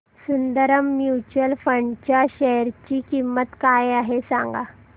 Sundaram mutual fund च्या share ची किंमत काय आहे सांगा